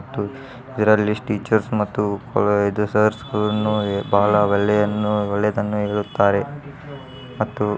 ದೇರಾಲಿ teachers ಮತ್ತು sir ಗಳನ್ನು. ಬಹಳ ಒಳ್ಳೆಯದು ಎಂದು ಹೇಳುತ್ತಾರೆ ಮತ್ತು __